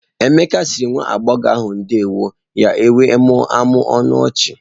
Emeka sịrị nwa agbọghọ ahụ ndeewọ ya wee mụmụọ ọnụ ọchị.